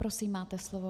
Prosím, máte slovo.